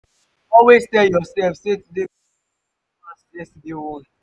always tel urself sey today go dey beta pass yestaday own